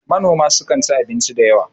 manoma sukan ci abinci da yawa